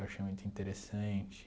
Eu achei muito interessante.